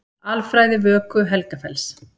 Alfræði Vöku-Helgafells.